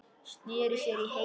Sneri sér í heilan hring.